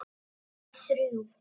Bara við þrjú.